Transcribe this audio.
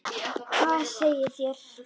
Hvað segið þér?